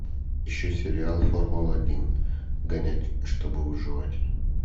ищи сериал формула один гонять чтобы выживать